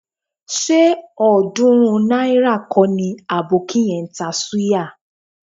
Ṣé ọ̀ọ́dúnrún náírà kọ́ ni àbókí yẹn ń ta súyà?